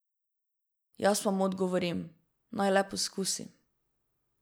Jaz pa mu odgovorim, naj le poskusi.